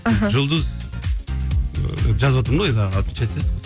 аха жұлдыз ыыы жазыватырмын да енді отмечать етесің